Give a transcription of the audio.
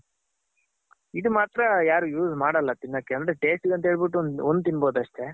ಇದ್ ಮಾತ್ರ ಯಾರ್ use ಮಾಡಲ್ಲ ತಿನ್ನಕ್ಕೆ ಅಂದ್ರೆ tasteಗಂತ ಹೇಳ್ಬಿಟ್ಟು ಒಂದ್ ತಿನ್ಬೋದ್ ಅಷ್ಟೆ.